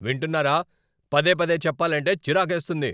వింటున్నారా? పదే పదే చెప్పాలంటే చిరాకేస్తుంది!